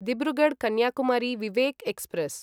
Dibrugarh Kanyakumari Vivek express